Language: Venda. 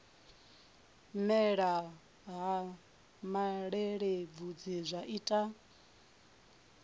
mela ha malelebvudzi zwa ita